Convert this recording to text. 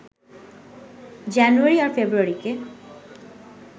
জানুয়ারি আর ফেব্রুয়ারিকে